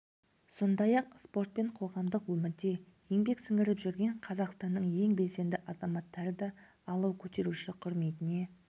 сондай-ақ спорт пен қоғамдық өмірде еңбек сіңіріп жүрген қазақстанның ең белсенді азаматтары да алау көтеруші құрметіне